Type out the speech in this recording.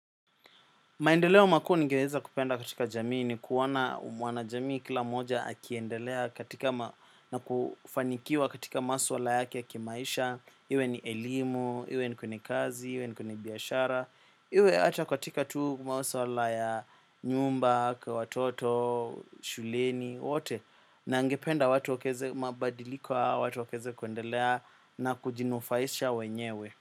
Maendeleo makuu ningeweza kupenda katika jamii ni kuona umwana jamii kila moja akiendelea katika ma na kufanikiwa katika maswala yake ya kimaisha, iwe ni elimu, iwe ni kwenye kazi, iwe ni kwenye biashara, iwe hata katika tu maswala ya nyumba, kwa watoto, shuleni, wote, na angependa watu wakeze mabadiliko watu wakeze kuendelea na kujinufaisha wenyewe.